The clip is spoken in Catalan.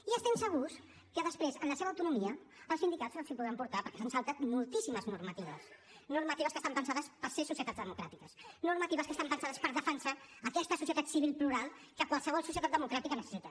i estem segurs que després en la seva autonomia els sindicats els hi podran portar perquè s’han saltat moltíssimes normatives normatives que estan pensades per ser societats democràtiques normatives que estan pensades per defensar aquesta societat civil plural que qualsevol societat democràtica necessita